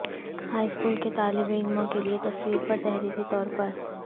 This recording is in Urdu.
ہائی اسکول کے طالب علموں کے لئے تصویر پر تحریری طور پر